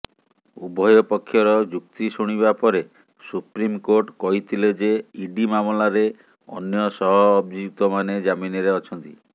ଉଭୟ ପକ୍ଷର ଯୁକ୍ତି ଶୁଣିବା ପରେ ସୁପ୍ରିମକୋର୍ଟ କହିଥିଲେ ଯେ ଇଡି ମାମଲାରେ ଅନ୍ୟ ସହଅଭିଯୁକ୍ତମାନେ ଜାମିନରେ ଅଛନ୍ତି